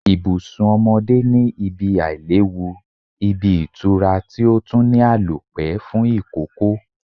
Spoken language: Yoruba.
Ibùsùn omodé ni ibi Àìléwu, ibi ìtura ti otun ni Àlòpé fun ìkókó